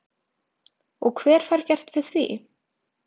Og hver fær gert við því?